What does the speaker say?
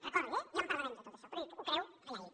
recordi ho ja en parlarem de tot això però ell ho creu allà ell